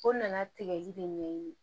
O nana tigɛli de ɲɛɲini